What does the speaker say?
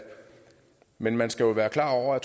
men man skal jo være klar over at